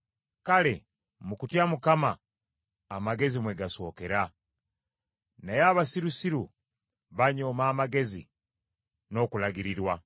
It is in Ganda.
Kale mu kutya Mukama amagezi mwe gasookera, naye abasirusiru banyooma amagezi n’okulagirirwa.